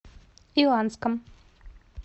иланском